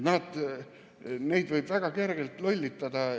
Neid võib väga kergelt lollitada.